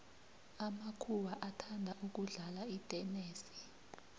amakuhwa athanda ukudlala itenesi